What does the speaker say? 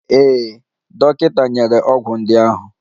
Ee, dọkịta nyere ọgwụ ndị ahụ.